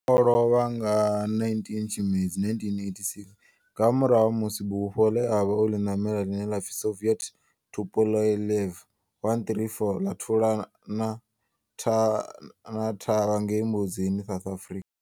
O lovha nga 19 Tshimedzi 1986 nga murahu ha musi bufho le a vha o li namela, line la pfi Soviet Tupolev 134 la thulana thavha ngei Mbuzini, South Africa.